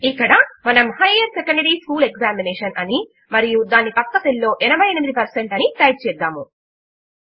ఇక్కడ మనము higher secondary school examination అని మరియు దాని ప్రక్క సెల్ లో 88 పెర్సెంట్ అని టైప్ చేద్దాము